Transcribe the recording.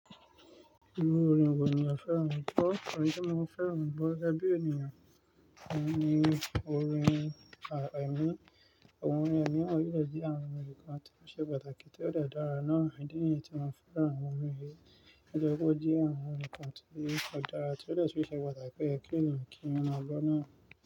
Orin wo ni mo fẹ́ràn ni gbọ. Ọ̀rín ti mo fẹ́ràn gbọ̀, gẹ́gẹ́ bí ènìyàn ó ní orin à ẹ̀mí, àwọn orin ẹ̀mí, àwọn orin wa ninu àwọn orin kán tí ó ṣe pàtàkì tí ó de dára náà idí niyi tí mo fẹ́ràn àwọn orin yìí. Ọ̀ye koje àwọn orin kan tó se patàki, tí ó dè tún ṣe pàtàkì pé kí ènìyàn kí wọ ma gbọ́ náà.